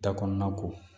Da kɔnɔna ko